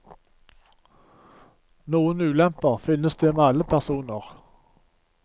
Noen ulemper finnes det med alle personer.